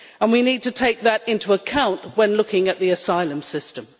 We need to take that into account when looking at the asylum system.